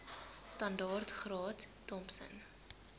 standaard graad thompson